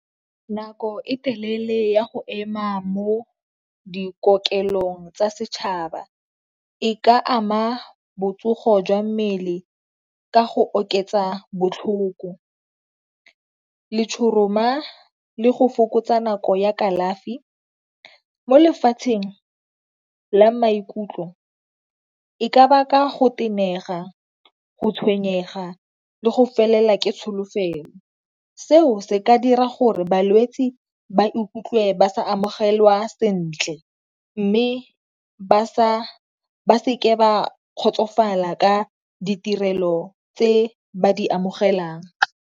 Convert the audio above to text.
Nako e telele ya go ema mo dikokelong tsa setšhaba e ka ama botsogo jwa mmele ka go oketsa botlhoko, letshoroma, le go fokotsa nako ya kalafi. Mo lefatsheng la maikutlo e ka baka go tenega, go tshwenyega, le go felelwa ke tsholofelo. Seo se ka dira gore balwetsi ba ikutlwe ba sa amogelwa sentle mme ba seke ba kgotsofala ka ditirelo tse ba di amogelang.